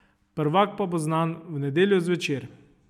Prvak pa bo znan v nedeljo zvečer.